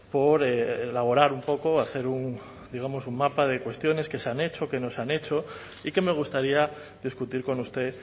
por elaborar un poco hacer digamos un mapa de cuestiones que se han hecho que no se han hecho y que me gustaría discutir con usted